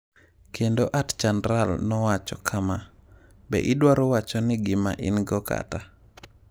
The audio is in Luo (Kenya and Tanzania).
“Kendo @Chandral_ nowacho kama: “Be idwaro wacho ni gima in-go kata ?”